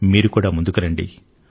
మీరు కూడా ముందుకు రండి